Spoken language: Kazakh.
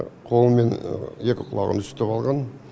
қолы мен екі құлағын үсітіп алған